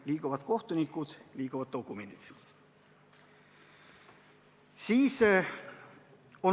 Liiguvad kohtunikud, liiguvad dokumendid.